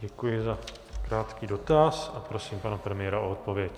Děkuji za krátký dotaz a prosím pana premiéra o odpověď.